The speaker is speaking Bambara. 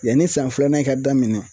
Yani san filanan in ka daminɛ